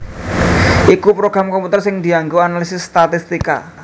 iku program komputer sing dianggo analisis statistika